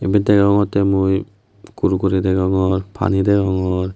ebet deongotte mui kurkuri degongor pani degongor.